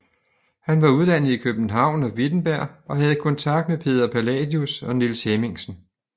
Han var uddannet i København og Wittenberg og havde kontakt med Peder Palladius og Niels Hemmingsen